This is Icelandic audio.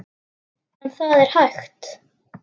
En það er hægt.